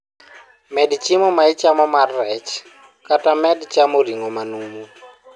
Med chiemo ma ichamo mar rech kata med chamo ring'o manumu.